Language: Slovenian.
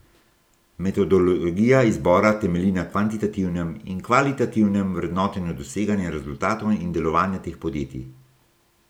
Metodologija izbora temelji na kvantitativnem in kvalitativnem vrednotenju doseganja rezultatov in delovanja teh podjetij.